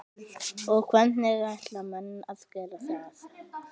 Eva: Og hvernig ætla menn að gera það?